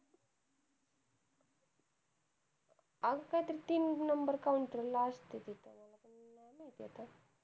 अंग काय तरी तीन number counter ला असते तिथं आता मला पण नाही माहिती